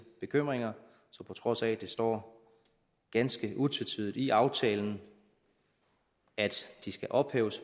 bekymringer så på trods af at det står ganske utvetydigt i aftalen at de skal ophæves